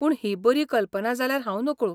पूण ही बरी कल्पना जाल्यार हांव नकळो.